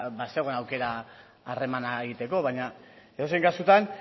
bazegoen aukera harremana egiteko baina edozein kasutan